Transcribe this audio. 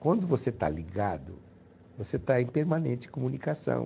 Quando você está ligado, você está em permanente comunicação.